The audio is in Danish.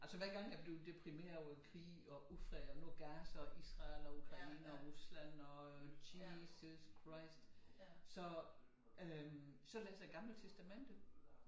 Altså hver gang jeg blev deprimeret over krig og ufred og nu Gaza og Israel og Ukraine og Rusland og jesus christ så øh så læser jeg Det Gamle Testamente